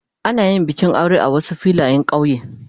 Ana yin bikin aure a Wasu Filayen kauye.